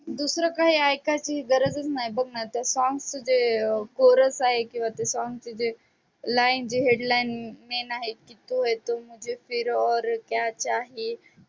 दूसरं काही ऐकायची गरजच नाही बघ ना ते song चं जे कोरस आहे किंवा ते song चं जे line जे headline main आहे की तू है तो मुझे फिर और क्या चाहिये